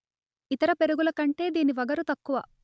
ఇతర పెరుగుల కంటే దీనికి వగరు తక్కువ